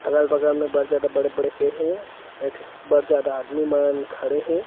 अगल-बगल में बड़ जादा बड़े-बड़े पेड़ हे अउ ठी बड़ जादा आदमी मन खड़े हे।